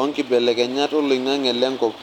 onkibelekenyat oloinange lenkop.